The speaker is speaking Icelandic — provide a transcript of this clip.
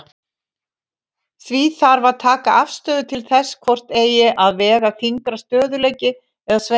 Því þarf að taka afstöðu til þess hvort eigi að vega þyngra, stöðugleiki eða sveigjanleiki.